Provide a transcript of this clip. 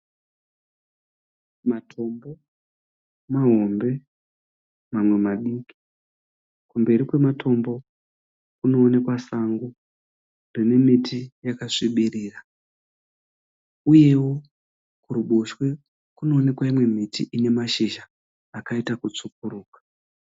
Matombo mahombe mamwe madiki. Kumberi kwematombo kunoonekwa sango rine miti yakasvibirira uyewo kuruboshwe kunoonekwa imwe miti ine mashizha akaita kutsvukuruka.